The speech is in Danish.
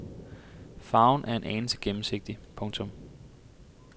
Farven er en anelse gennemsigtig. punktum